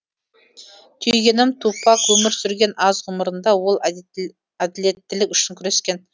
түйгенім тупак өмір сүрген аз ғұмырында ол әділеттілік үшін күрескен